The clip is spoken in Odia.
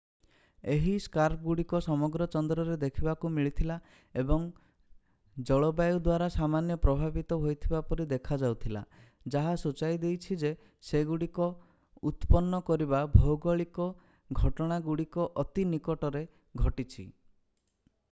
ଏହି ସ୍କାର୍ପଗୁଡିକ ସମଗ୍ର ଚନ୍ଦ୍ରରେ ଦେଖିବାକୁ ମିଳିଥିଲା ଏବଂ ଜଲବାୟୁ ଦ୍ୱାରା ସାମାନ୍ୟ ପ୍ରଭାବିତ ହୋଇଥିବା ପରି ଦେଖାଯାଉଥିଲା ଯାହା ସୂଚାଇ ଦେଇଛି ଯେ ସେଗୁଡିକୁ ଉତ୍ପନ୍ନ କରିଥିବା ଭୌଗୋଳିକ ଘଟଣାଗୁଡ଼ିକଅତି ନିକଟରେ ଘଟିଛି